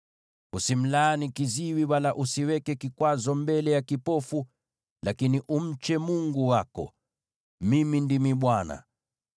“ ‘Usimlaani kiziwi, wala usiweke kikwazo mbele ya kipofu, lakini umche Mungu wako. Mimi ndimi Bwana .